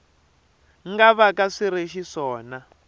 nga vaka swi ri xiswona